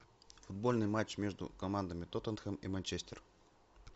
футбольный матч между командами тоттенхэм и манчестер